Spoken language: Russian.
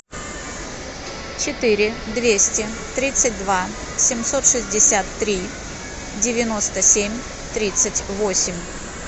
четыре двести тридцать два семьсот шестьдесят три девяносто семь тридцать восемь